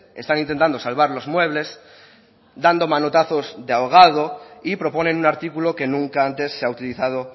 están intentando salvar los muebles dando manotazos de ahogado y proponen un artículo que nunca antes se ha utilizado